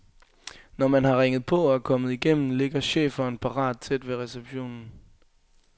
Når man har ringet på og er kommet igennem, ligger schæferen parat tæt ved receptionen.